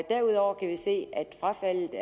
derudover kan vi se at frafaldet